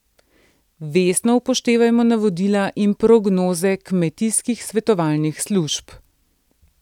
Vestno upoštevajmo navodila in prognoze kmetijskih svetovalnih služb.